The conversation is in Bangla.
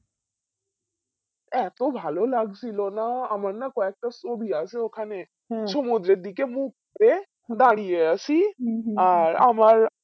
এতো ভালো লাগছিলো না আমার না কয়েকটা ছবি আছে ওখানে সমুদ্রের দিকে মুখ করে দাঁড়িয়ে আছি আর আবার